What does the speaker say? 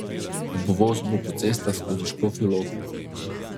Obvoz bo po cestah skozi Škofjo Loko.